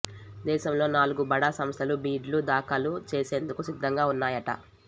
దేశంలో నాలుగు బడా సంస్థలు బిడ్ లు దాఖలు చేసేందుకు సిద్ధంగా వున్నాయట